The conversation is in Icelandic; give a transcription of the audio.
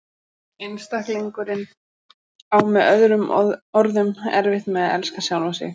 Einstaklingurinn á með öðrum orðum erfitt með að elska sjálfan sig.